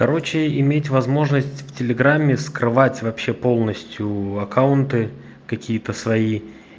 короче иметь возможность в телеграмме скрывать вообще полностью аккаунты какие-то свои